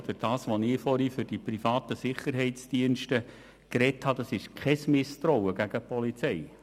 Was ich vorher für die privaten Sicherheitsdienste gesagt habe, bedeutet kein Misstrauen gegen die Polizei.